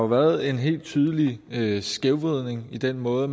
været en helt tydeligt skævvridning i den måde